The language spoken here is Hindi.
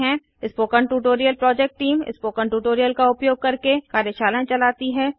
spoken tutorial project team spoken tutorial का उपयोग करके कार्यशालाएँ भी चलाती हैं